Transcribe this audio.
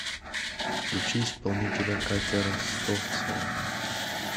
включи исполнителя катя ростовцева